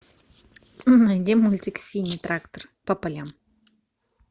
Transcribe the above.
найди мультик синий трактор по полям